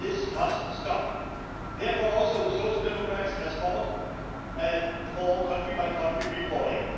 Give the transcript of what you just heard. This must stop. Therefore, the Social Democrats have fought for country by country reporting.